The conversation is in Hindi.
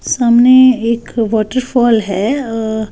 सामने एक वाटरफॉल है अ--